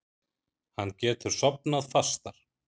Hann getur sofnað fastar.